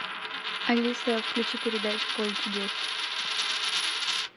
алиса включи передачу поле чудес